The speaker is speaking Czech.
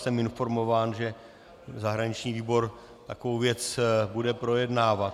Jsem informován, že zahraniční výbor takovou věc bude projednávat.